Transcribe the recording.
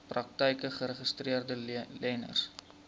praktyke geregistreede leners